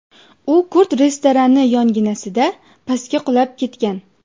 U kurd restorani yonginasida pastga qulab ketgan.